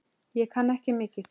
Ég kann ekki mikið.